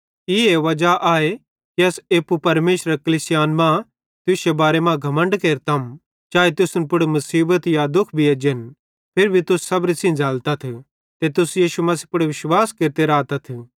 ई वजा आए कि अस एप्पू परमेशरेरे कलीसियान मां तुश्शे बारे मां घमण्ड केरतम चाए तुसन पुड़ मुसीबत या दुःख भी एज्जन फिरी भी तुस सबरी सेइं झ़ैलतथ ते तुस यीशु मसीह पुड़ विश्वास केरते रातथ